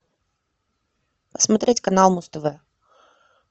смотреть канал муз тв